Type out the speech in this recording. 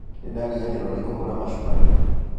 Nĩndariganĩrwo nĩ kũhũra macuka